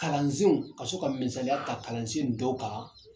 Kalansenw ka so ka misaliya ta kalansenw dɔ kan